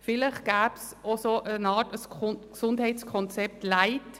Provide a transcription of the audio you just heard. Vielleicht wäre eine Art «Gesundheitskonzept light» möglich.